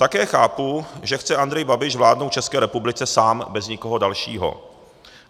Také chápu, že chce Andrej Babiš vládnout České republice sám, bez nikoho dalšího.